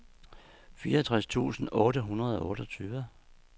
fireogtres tusind otte hundrede og otteogtyve